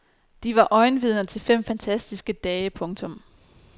De var øjenvidner til fem fantastiske dage. punktum